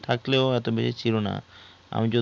থাকলেও এত বেশি ছিলো না আমি